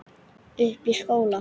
Uppi í skóla.